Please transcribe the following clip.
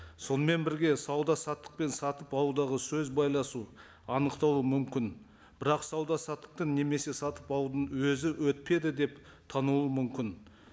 сонымен бірге сауда саттық пен сатып алудағы сөз байласу анықталу мүмкін бірақ сауда саттықтың немесе сатып алудың өзі өтпеді деп танылу мүмкін